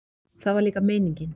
Það var líka meiningin.